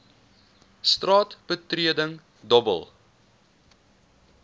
straat betreding dobbel